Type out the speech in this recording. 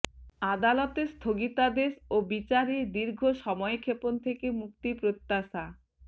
আদালতের স্থগিতাদেশ ও বিচারে দীর্ঘ সময়ক্ষেপণ থেকে মুক্তি প্রত্যাশা